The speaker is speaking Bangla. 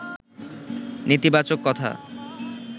নেতিবাচক কথা